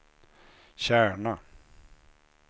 Kärna